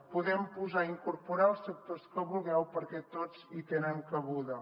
hi podem posar i incorporar els sectors que vulgueu perquè tots hi tenen cabuda